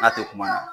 N'a tɛ kuma ɲɛ